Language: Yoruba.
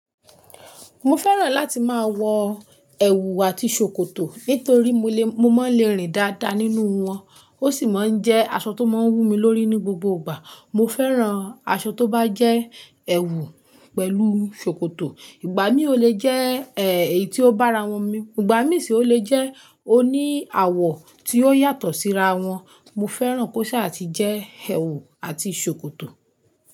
Mo fẹ́ràn láti máa wọ ẹ̀wù àti ṣòkòtò nítorí mo lè, mo máa ń le rìn dáadáa nínú wọn, ó sì máa ń jẹ́ aṣọ tó máa ń wù mí lórí ní gbogbo ìgbà. Mo fẹ́ràn aṣọ tó bá jẹ́ ẹ̀wù pẹ̀lú ṣòkòtò. Ìgbà mí ò le jẹ́, ẹ, èyí tó bá ra wọn mi. Ìgbà mí sì ò le jẹ́ oní àwọ̀ tí ó yàtọ̀ síra wọn. Mo fẹ́ràn kó ṣà ti jẹ́ ẹ̀wù àti ṣòkòtò.